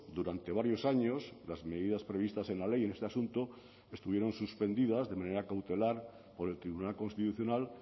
durante varios años las medidas previstas en la ley en este asunto estuvieron suspendidas de manera cautelar por el tribunal constitucional